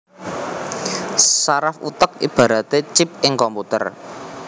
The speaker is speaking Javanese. Saraf utek ibaraté chip ing komputer